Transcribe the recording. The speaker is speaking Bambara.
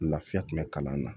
Lafiya kun bɛ kalan na